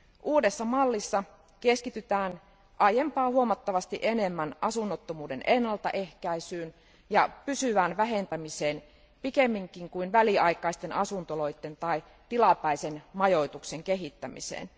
Uudessa mallissa keskitytään aiempaa huomattavasti enemmän asunnottomuuden ennaltaehkäisyyn ja pysyvään vähentämiseen pikemminkin kuin väliaikaisten asuntoloiden tai tilapäisen majoituksen kehittämiseen.